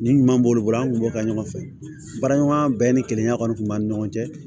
Nin ɲuman b'olu bolo an tun b'o kɛ ɲɔgɔn fɛ baara ɲɔgɔnya bɛɛ ni kilenya kɔni tun b'an ni ɲɔgɔn cɛ